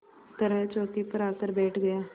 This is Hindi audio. तरह चौकी पर आकर बैठ गया